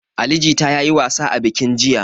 Ali jita ya yi wasa a bikin jiya.